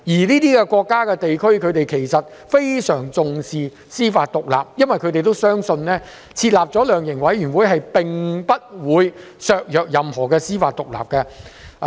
這些國家和地區非常重視司法獨立，因為他們相信設立量刑委員會並不會削弱任何司法獨立。